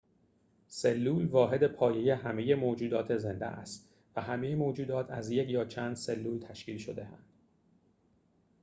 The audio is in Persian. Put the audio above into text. سلول واحد پایه همه موجودات زنده است و همه موجودات از یک یا چند سلول تشکیل شده‌اند